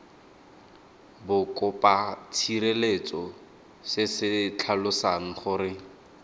bokopatshireletso se se tlhalosang gore